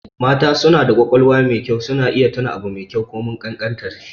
Mata suna da ƙwaƙwalwa mai kyau, suna iya tuna abu komai ƙanƙantar shi.